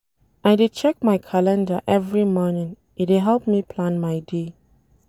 I dey check my calender every morning, e dey help me plan my day.